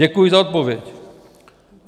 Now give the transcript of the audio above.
Děkuji za odpověď.